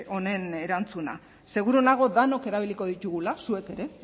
honen erantzuna seguru nago denok erabiliko ditugula zuek ere